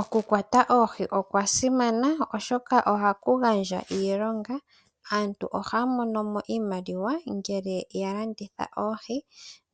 Oku kwata oohi okwa simana, osho ka oha ku gandja iilonga, aantu oha ya mono mo iimaliwa ngele ya landitha oohi